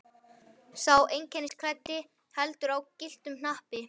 Sá einkennisklæddi heldur á gylltum hnappi.